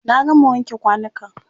Na gama wanke kwanukan.